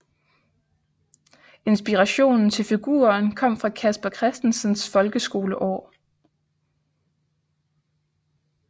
Inspirationen til figuren kom fra Casper Christensens folkeskoleår